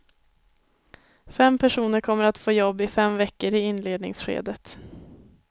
Fem personer kommer att få jobb i fem veckor i inledningsskedet.